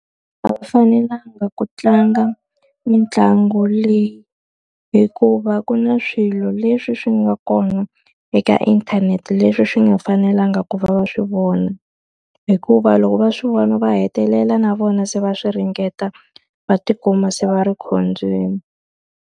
A va fanelanga ku tlanga mitlangu leyi, hikuva ku na swilo leswi swi nga kona eka inthanete leswi swi nga fanelanga ku va va swi vona. Hikuva loko va swi vona va hetelela na vona se va swi ringeta, va tikuma se va ri khombyeni.